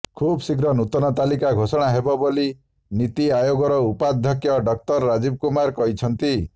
ଖୁବ୍ଶୀଘ୍ର ନୂତନ ତାଲିକା ଘୋଷଣା ହେବ ବୋଲି ନିତିଆୟୋଗର ଉପାଧ୍ୟକ୍ଷ ଡକ୍ଟର ରାଜୀବ କୁମାର କହିଛନ୍ତିି